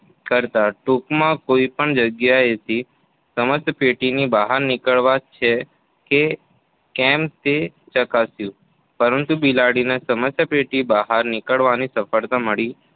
કર્યા. ટૂંકમાં કોઈ પણ જગ્યાએથી સમસ્યાપેટીની બહાર નીકળાય છે કે કેમ તે ચકાસ્યું. પરંતુ બિલાડીને સમસ્યાપેટીની બહાર નીકળવામાં સફળતા મળી